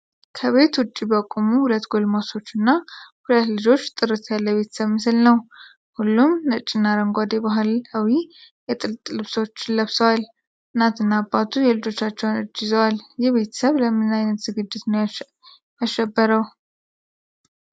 ከቤት ውጪ በቆሙ ሁለት ጎልማሶች እና ሁለት ልጆች ጥርት ያለ የቤተሰብ ምስል ነው። ሁሉም ነጭና አረንጓዴ ባህላዊ የጥጥ ልብሶች ለብሰዋል። እናትና አባቱ የልጆቻቸውን እጅ ይዘዋል። ይህ ቤተሰብ ለምን አይነት ዝግጅት ነው ያሸበረው?